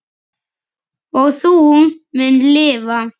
Og þú munt lifa!